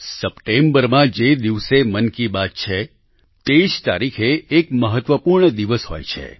સપ્ટેમ્બરમાં જે દિવસે મન કી બાત છે તે જ તારીખે એક મહત્વપૂર્ણ દિવસ હોય છે